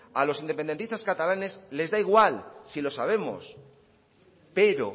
a los independentistas catalanes les da igual si lo sabemos pero